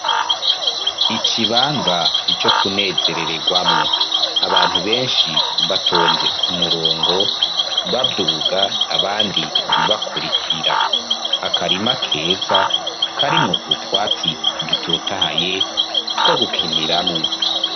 Icibanza co kunezerererwamwo, abantu benshi batonze ku murongo, babyuga abandi bibakurikira akarima akeza karimwo utwatsi dutotahaye two gukiniramwo.